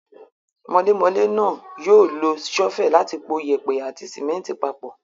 Mọlémọlé náà yóò lo ṣọ́fẹ̀ láti po yèèpẹ̀ àti símẹ́ńtì papọ̀.